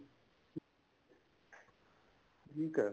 ਠੀਕ ਏ